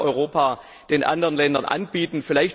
Das kann Europa den anderen Ländern anbieten.